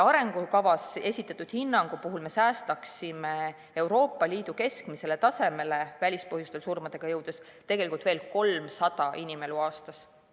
Arengukavas esitatud hinnangu kohaselt me säästaksime välispõhjustest tingitud surmadega Euroopa Liidu keskmisele tasemele jõudes tegelikult veel 300 inimelu aastas.